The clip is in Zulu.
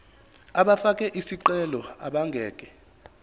abafake izicelo abangeke